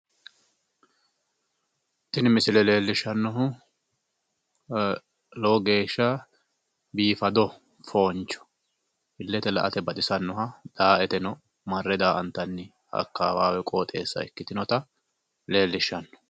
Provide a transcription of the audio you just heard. Tini misile leellishshannohu lowo geeshsha biifado fooncho illete la"ate baxisannoha daa"eteno marre daa"antanni akkawaawe qoxeessa ikkitinota leellishshanno.